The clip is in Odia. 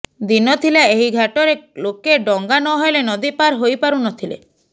ଦିନ ଥିଲା ଏହି ଘାଟରେ ଲୋକେ ଡଙ୍ଗା ନ ହେଲେ ନଦୀ ପାର ହୋଇ ପାରୁ ନ ଥିଲେ